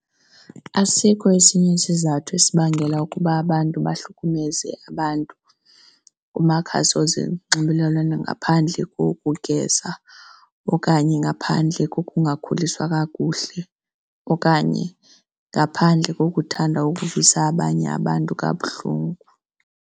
Asikho esinye isizathu esibangela ukuba abantu bahlukumeza abantu kumakhasi wezonxibelelwano ngaphandle kokugeza okanye ngaphandle kokungakhuliswa kakuhle, okanye ngaphandle kokuthanda ukuvisa abanye abantu kabuhlungu.